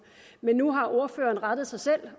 nu har ordføreren rettet sig selv og det